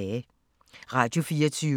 Radio24syv